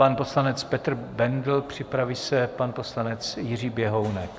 Pan poslanec Petr Bendl, připraví se pan poslanec Jiří Běhounek.